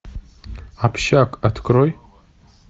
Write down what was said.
общак открой